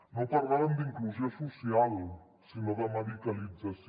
no parlàvem d’inclusió social si nó de medicalització